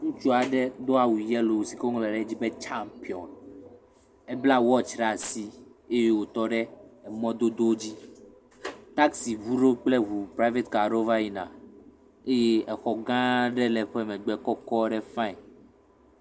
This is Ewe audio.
Ŋutsu aɖe do awu yellow sike wo ŋlɔ de edzi be khampion. Ebla wɔtsi ɖe asi eye wo tɔ ɖe emɔ dodo dzi. Taxi ʋu ɖewo kple ʋu private ka ɖe wo va yina. Eye exɔ ga aɖe le eƒɛ megbe kɔkɔ ɖe fine.